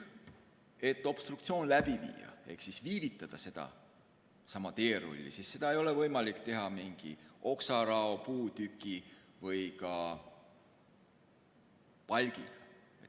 Et obstruktsiooni läbi viia ehk viivitada sedasama teerulli, ei ole seda võimalik teha mingi oksarao, puutüki või palgiga.